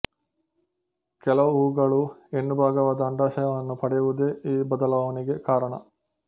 ಕೆಲವು ಹೂಗಳು ಹೆಣ್ಣು ಭಾಗವಾದ ಅಂಡಾಶಯವನ್ನು ಪಡೆಯುವುದೇ ಈ ಬದಲಾವಣೆಗೆ ಕಾರಣ